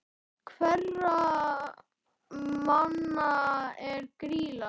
Hverra manna er Grýla?